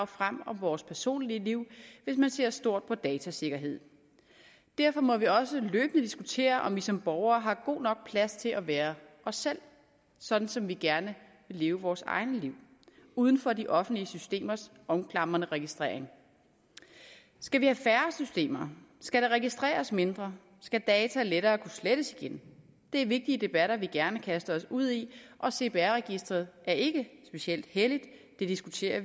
frem om vores personlige liv hvis man ser stort på datasikkerhed derfor må vi også løbende diskutere om vi som borgere har god nok plads til at være os selv sådan som vi gerne vil leve vores egne liv uden for de offentlige systemers omklamrende registrering skal vi have færre systemer skal der registreres mindre skal data lettere kunne slettes igen det er vigtige debatter vi gerne kaster os ud i og cpr registeret er ikke specielt helligt vi diskuterer